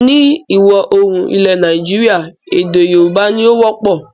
Ni ìwọ̀-oòrùn ilẹ̀ Nàìjíríà èdè Yorùbá ni o wọ́pọ̀